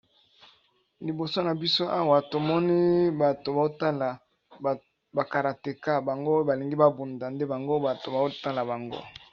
Liboso na biso awa tomoni bato ba otala ba karateka bango oyo ba lingi ba bunda nde bango bato bao tala bango.